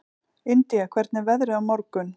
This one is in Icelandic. Indía, hvernig er veðrið á morgun?